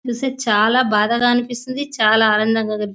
చూస్తే చాలా బాధగా అనిపిస్తుంది చాలా ఆనందంగా అనిపి --